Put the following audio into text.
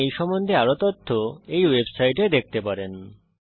আপনি এই সম্বন্ধে আরও তথ্য এই ওয়েবসাইটে দেখতে পারেন